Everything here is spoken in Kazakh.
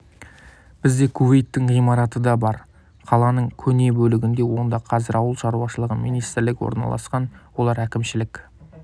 бізде кувейттің ғимараты да бар қаланың көне бөлігінде онда қазір ауыл шаруашылығы министрлігі орналасқан олар әкімшілік